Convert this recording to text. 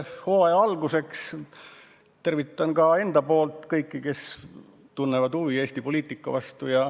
Hooaja alguse puhul tervitan ka enda poolt kõiki, kes tunnevad huvi Eesti poliitika vastu.